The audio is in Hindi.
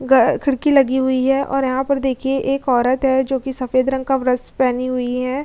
खिड़की लगी हुई है और यहाँ पर देखिए एक औरत है जो कि सफेद रंग का वस्त्र पेहेनी हुई है।